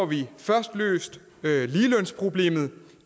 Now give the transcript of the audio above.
vi først løst ligelønsproblemet